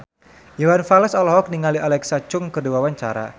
Iwan Fals olohok ningali Alexa Chung keur diwawancara